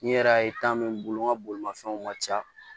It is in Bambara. N'i yɛrɛ ye min bolo n ga bolimafɛnw ka ca